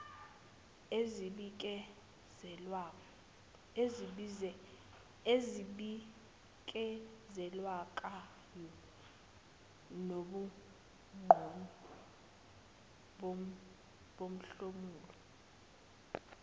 ezibikezelekayo nobungcono bomhlomulo